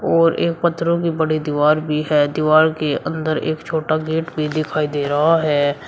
और एक पत्थरों की बड़ी दीवार भी है। दीवार के अंदर एक छोटा गेट भी दिखाई दे रहा है।